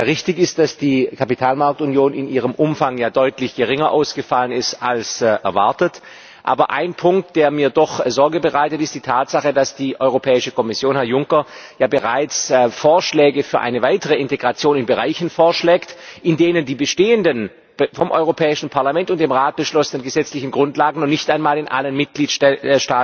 Richtig ist, dass die Kapitalmarktunion in ihrem Umfang ja deutlich geringer ausgefallen ist als erwartet. Aber ein Punkt, der mir doch Sorge bereitet, ist die Tatsache, dass die Europäische Kommission, Herr Juncker, bereits Vorschläge für eine weitere Integration in Bereichen macht, in denen die bestehenden, vom Europäischen Parlament und dem Rat beschlossenen gesetzlichen Grundlagen noch nicht einmal in allen Mitgliedstaaten